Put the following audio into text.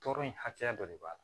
Tɔɔrɔ in hakɛya dɔ de b'a la